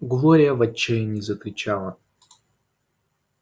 глория в отчаянии закричала